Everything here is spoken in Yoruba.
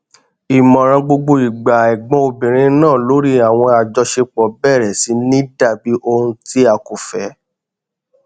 ìmọràn gbogbo ìgbà ẹgbọn obìnrin náà lórí àwọn àjọṣepọ bẹrẹ sì ní dàbí ohun ti a kò fẹ